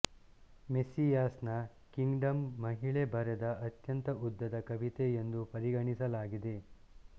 ಮೆಸ್ಸಿಯಾಸ್ನ kingdom ಮಹಿಳೆ ಬರೆದ ಅತ್ಯಂತ ಉದ್ದದ ಕವಿತೆ ಎಂದು ಪರಿಗಣಿಸಲಾಗಿದೆ